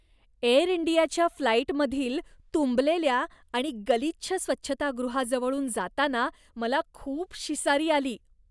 Air इंडियाच्या फ्लाईटमधील तुंबलेल्या आणि गलिच्छ स्वच्छतागृहाजवळून जाताना मला खूप शिसारी आली.